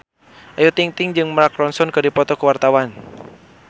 Ayu Ting-ting jeung Mark Ronson keur dipoto ku wartawan